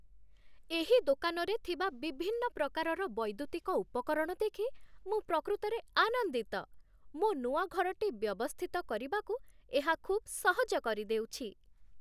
ଏହି ଦୋକାନରେ ଥିବା ବିଭିନ୍ନ ପ୍ରକାରର ବୈଦ୍ୟୁତିକ ଉପକରଣ ଦେଖି ମୁଁ ପ୍ରକୃତରେ ଆନନ୍ଦିତ। ମୋ ନୂଆ ଘରଟି ବ୍ୟବସ୍ଥିତ କରିବାକୁ ଏହା ଖୁବ୍ ସହଜ କରିଦେଉଛି।